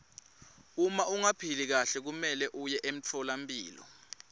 uma ungaphili kahle kumelwe uye emtfolampilo